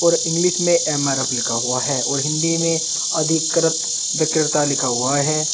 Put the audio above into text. English में M R F लिखा हुआ है और हिंदी में अधिकृत विक्रेता लिखा हुआ है।